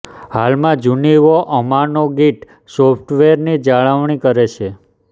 હાલમાં Junio Hamano Git સોફ્ટવેરની જાળવણી કરે છે